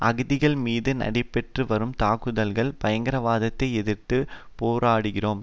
அகதிகள் மீது நடைபெற்றுவரும் தாக்குதல்கள் பயங்கரவாதத்தை எதிர்த்து போராடுகிறோம்